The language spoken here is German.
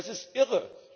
Das ist irre!